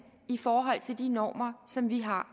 i forhold til de normer som vi har